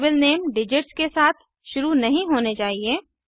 variable name digits के साथ शुरू नहीं होने चाहिए